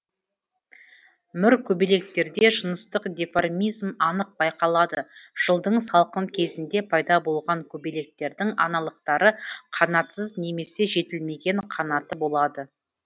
мүр көбелектерде жыныстық диформизм анық байқалады жылдың салқын кезінде пайда болған көбелектердің аналықтары қанатсыз немесе жетілмеген қанаты болады